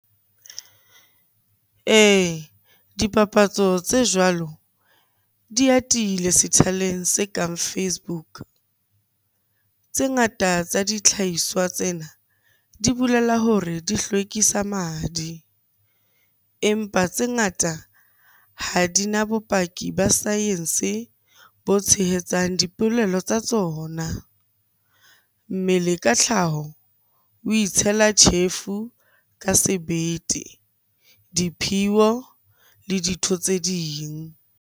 Ee, dipapatso tse jwalo di atile sethaleng se kang Facebook. Tse ngata tsa dihlahiswa tsena, di bolela hore di hlwekisa madi, empa tse ngata ha di na bopaki ba science bo tshehetsang dipolelo tsa tsona. Mmele ka tlhaho o itshela tjhefu ka sebete, diphiyo le ditho tse ding.